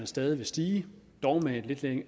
stadig vil stige dog med et lidt